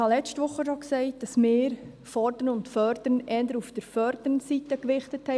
Ich sagte bereits letzte Woche, dass wir fordern und fördern eher auf der fördernden Seite gewichtet.